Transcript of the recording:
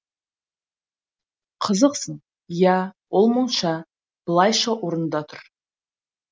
қызықсың иә ол монша былайша орында тұр